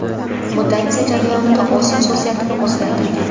Mutatsiya jarayonida o‘z xususiyatini o‘zgartirgan.